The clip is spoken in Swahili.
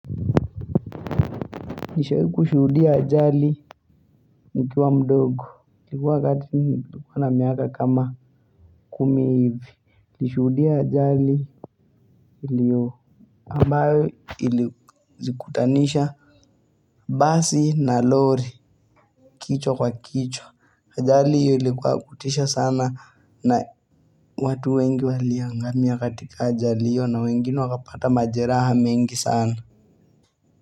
Nishawahi kushudia ajali nikiwa mdogo. Ilikuwa wakati nilikuwa na miaka kama kumi hivi nilishuhudia ajali iliyo ambayo ilizikutanisha basi na lori kichwa kwa kichwa. Ajali hiyo ilikuwa ya kutisha sana na watu wengi waliangamia katika ajali na wengine wakapata majeraha mengi sana.